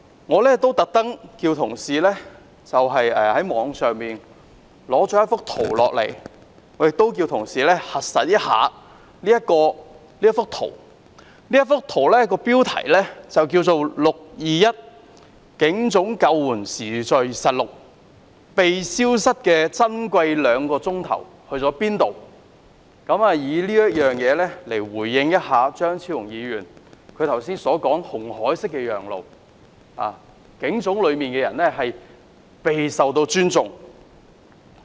我特地叫同事在網上截取一幅圖，亦叫同事核實這幅圖，其標題為 "621 警總救援時序實錄，被消失的珍貴兩小時"，以此回應張超雄議員剛才有關"摩西分紅海"式讓路，警總內的人備受尊重這說法。